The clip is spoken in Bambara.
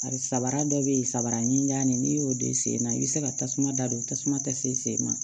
A samara dɔ bɛ yen samara ɲinani n'i y'o don i sen na i bɛ se ka tasuma da don tasuma tɛ se sen ma